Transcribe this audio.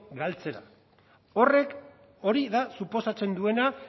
galtzera horrek hori da suposatzen duena